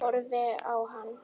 Horfi á hann.